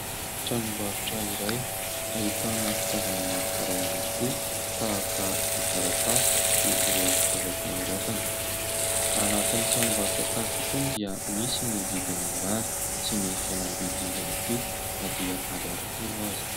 Tranombarotra iray ahitana fitaovana maro karazana tokoa tahaka ny taratasy sy ireo fitaovam-panoratana. Anatiny tranombarotra tahaka itony dia misy ny vidin'ny mirary sy ny fihenam-bidy ihany koa na dia ariary folo aza.